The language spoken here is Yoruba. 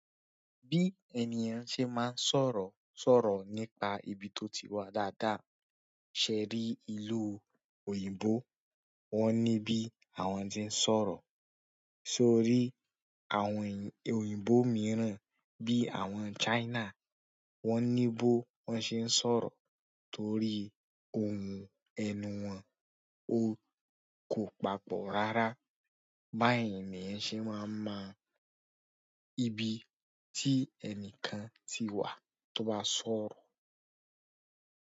Bi ènìyàn se man sọ̀rọ̀, sọ̀rọ̀ nípa ibi to ti wa dáadáa. Ṣe rí ìlú òyìnbó, wọ́n ní bí àwọn tí ń sọ̀rọ̀. Sọ rí àwọn òyìnbó mìíràn bí àwọn China, wọ́n ní bó wọ́n ṣe ń sọ̀rọ̀ torí ohùn ẹnu wọn o kò papọ̀ rárá. Báyìí ni ènìyàn ṣe máa ń mọ ibi tí ẹnìkan ti wà tó bá sọ̀rọ̀.